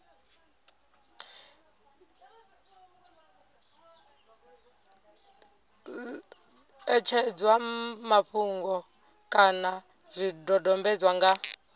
ṋetshedzwa mafhungo kana zwidodombedzwa nga